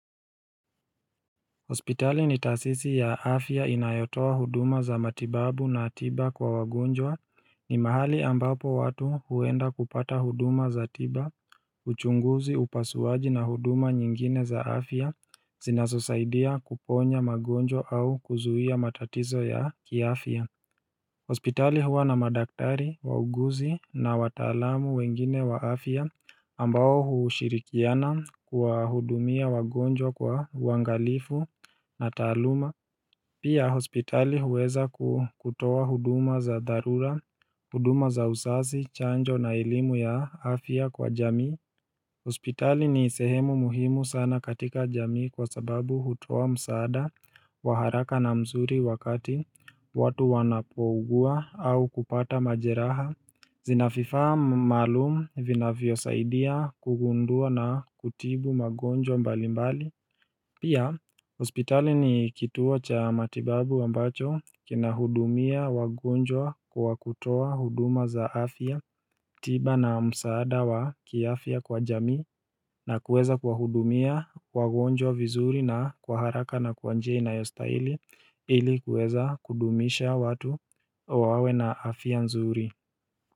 Hospitali ni taasisi ya afya inayotoa huduma za matibabu na tiba kwa wagonjwa ni mahali ambapo watu huenda kupata huduma za tiba uchunguzi upasuaji na huduma nyingine za afya zinazosaidia kuponya magonjwa au kuzuia matatizo ya kiafya Hospitali huwa na madaktari, wauguzi na watalamu wengine wa Afia ambao hushirikiana kwa hudumia wagonjwa kwa uangalifu na taluma Pia hospitali huweza kutoa huduma za dharura, huduma za usazi, chanjo na elimu ya Afia kwa jamii Hospitali ni sehemu muhimu sana katika jamii kwa sababu hutoa msaada waharaka na mzuri wakati watu wanapougua au kupata majeraha Zinafifaa malumu vinavyo saidia kugundua na kutibu magonjwa mbali mbali Pia hospitali ni kituo cha matibabu ambacho kina hudumia wagonjwa wa kutoa huduma za afya tiba na msaada wa kiafia kwa jamii na kuweza kuwahudumia wagonjwa vizuri na kwa haraka na kwa njia inayostahili ilikuweza kudumisha watu wawe na afia nzuri.